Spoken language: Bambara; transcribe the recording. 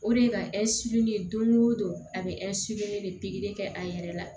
O de ye ka don o don a bɛ de pikiri kɛ a yɛrɛ la